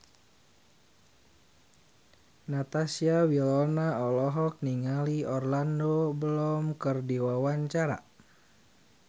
Natasha Wilona olohok ningali Orlando Bloom keur diwawancara